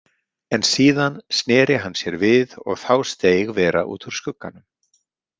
En síðan sneri hann sér við og þá steig vera út úr skugganum.